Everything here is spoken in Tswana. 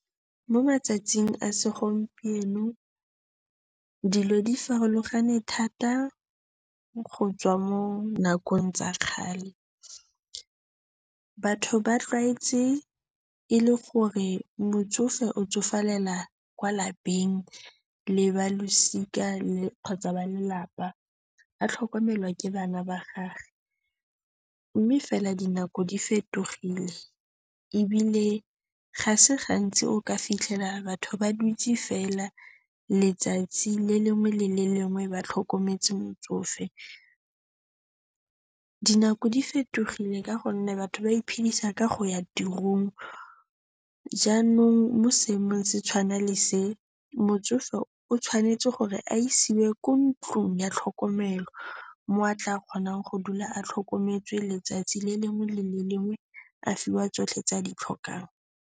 Mo matsatsing a segompieno dilo di farologane thata go tswa mo nakong tsa kgale. Batho ba tlwaetse e le gore motsofe o tsofalela kwa lapeng le balosika kgotsa ba lelapa, a tlhokomelwa ke bana ba gagwe. Mme fela dinako di fetogile ebile ga se gantsi o ka fitlhela batho ba dutse fela letsatsi le lengwe le le lengwe ba tlhokometse motsofe. Dinako di fetogile ka gonne batho ba iphedisa ka go ya tirong jaanong mo seemong se tshwana le se, motsofe o tshwanetse gore a isiwe ko ntlong ya tlhokomelo mo a tla kgonang go dula a tlhokometswe letsatsi le lengwe le le lengwe, a fiwa tsotlhe tse a di tlhokang.